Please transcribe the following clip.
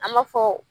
An b'a fɔ